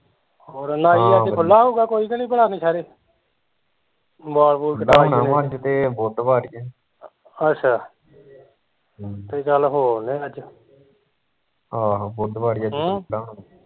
ਹੋਰ ਨਾਈ ਅੱਜ ਖੁੱਲਾ ਹੋਉਗਾ ਕੋਈ ਕਿ ਨਹੀਂ ਭਲਾ ਨੁਸਹੇਰੇ ਵਾਲ ਵੁਲ ਕਟਾਉਣੇ ਅੱਛਾ ਤੇ ਚੱਲ ਹੋ ਆਉਂਦੇ ਆ ਅੱਜ